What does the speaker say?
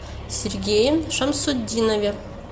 сергее шамсутдинове